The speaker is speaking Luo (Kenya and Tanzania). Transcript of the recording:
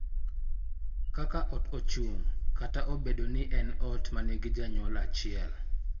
Kaka ot ochung��kata obedo ni en ot ma nigi janyuol achiel, .